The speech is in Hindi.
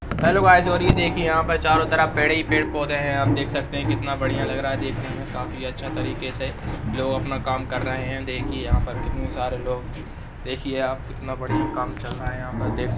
हेलो गाइस और ये दिखिए यहाँ पे चारो तरफ पेड़ ही पेड़ पौधे हैं हम देख सकते हैं कितना बढ़िया लग रहा हैं देखने में काफी अच्छा तरीके से लोग अपना काम कर रहे हैं देखिये यहाँ पर कितने सारे लोग देखिये यहाँ पर कितना बढ़िया काम चल रहा हैं यहाँ पर देख सकते हैं।